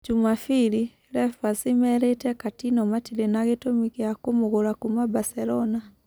(Jumapiri) Lepazi merĩĩte Katino matĩrĩ na gĩtũmi gĩa-kũmũgũra kuuma Baselona.